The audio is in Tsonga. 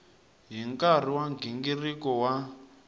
hi nkarhi wa nghingiriko wa